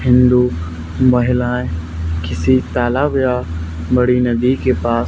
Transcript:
हिंदू महिलाएं किसी तालाब या बड़ी नदी के पास--